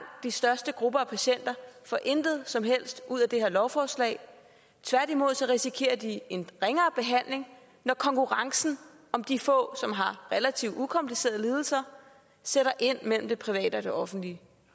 de største grupper af patienter får intet som helst ud af det her lovforslag tværtimod så risikerer de en ringere behandling når konkurrencen om de få som har relativt ukomplicerede lidelser sætter ind mellem det private og det offentlige